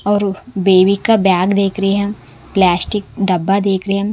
और बेबी का बैग देख रहे है प्लास्टिक डब्बा देख रहे है।